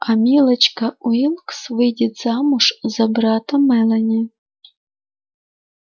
а милочка уилкс выйдет замуж за брата мелани